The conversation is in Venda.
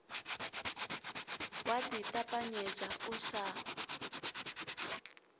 wa ḽi ṱapanyedza u sa